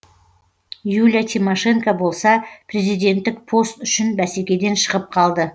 юлия тимошенко болса президенттік пост үшін бәсекеден шығып қалды